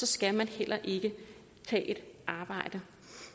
skal man heller ikke tage et arbejde